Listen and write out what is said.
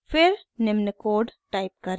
फिर निम्न code type करें: